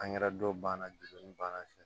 dɔ banna bana fɛ